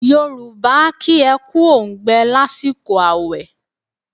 Yorùbá a kí ẹ kú óǹgbẹ lásìkò àwẹ̀.